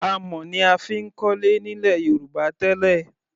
Amọ̀ ni a fi ń kọ́lé nílẹ̀ Yorùbá tẹ́lẹ̀.